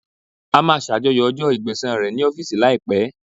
A máa ṣàjọyọ̀ ọjọ́ Ẹgbẹ̀sán rẹ̀ ní ọ́fíìsì láìpẹ́.